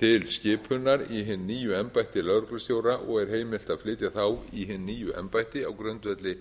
til skipunar í hin nýju embætti lögreglustjóra og er heimilt að flytja þá í hin nýju embætti á grundvelli